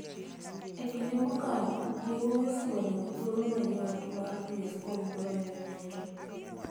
E kinde mokalo, yawuowi osebedo gi thuolo mayot mar dhi e skul moloyo nyiri,